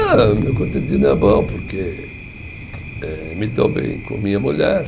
Ah, o meu cotidiano é bom, porque eh, me dou bem com minha mulher.